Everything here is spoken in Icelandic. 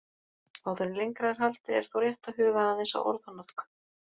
Áður en lengra er haldið er þó rétt að huga aðeins að orðanotkun.